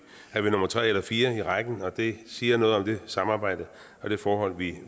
er vi nummer tre eller fire i rækken og det siger noget om det samarbejde og det forhold